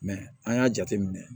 an y'a jate minɛ